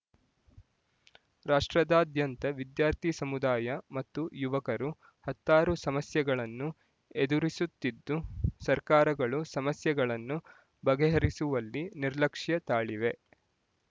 ರಾಷ್ಟ್ರದಾದ್ಯಂತ ವಿದ್ಯಾರ್ಥಿ ಸಮುದಾಯ ಮತ್ತು ಯುವಕರು ಹತ್ತಾರು ಸಮಸ್ಯೆಗಳನ್ನು ಎದುರಿಸುತ್ತಿದ್ದು ಸರ್ಕಾರಗಳು ಸಮಸ್ಯೆಗಳನ್ನು ಬಗೆಹರಿಸುವಲ್ಲಿ ನಿರ್ಲಕ್ಷ್ಯ ತಾಳಿವೆ